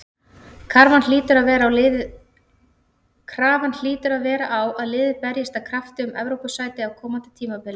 Krafan hlýtur að vera á að liðið berjist af krafti um Evrópusæti á komandi tímabili.